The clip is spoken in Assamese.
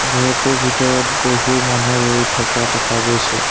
ঘৰটোৰ ভিতৰত বহু মানুহ ৰৈ থকা দেখা গৈছে।